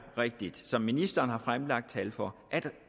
rigtigt som ministeren har fremlagt tal for at